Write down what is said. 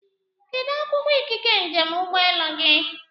Kedụ akwụkwọ ikike njem ụgbọelu gị?